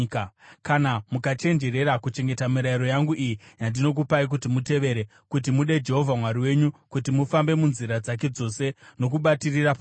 Kana mukachenjerera kuchengeta mirayiro yangu iyi yandinokupai kuti mutevere, kuti mude Jehovha Mwari wenyu, kuti mufambe munzira dzake dzose nokubatirira paari,